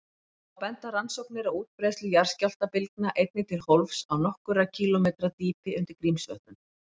Þá benda rannsóknir á útbreiðslu jarðskjálftabylgna einnig til hólfs á nokkurra kílómetra dýpi undir Grímsvötnum.